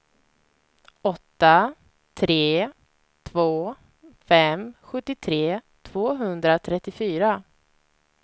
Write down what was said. åtta tre två fem sjuttiotre tvåhundratrettiofyra